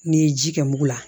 N'i ye ji kɛ mugu la